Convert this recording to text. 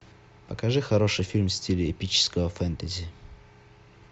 покажи хороший фильм в стиле эпического фентези